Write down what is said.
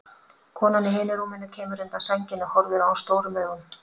Konan í hinu rúminu kemur undan sænginni og horfir á hann stórum augum.